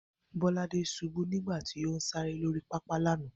Bó̩ládé s̩ubú nígbà tí ó ń sáré lórí pápá lánàá